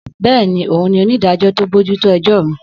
Bẹ́ẹ̀ni, òun ni onídàájọ́ tó bójú tó ẹjọ́ mi.